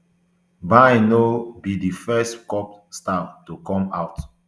bain no be di first kpop star to come out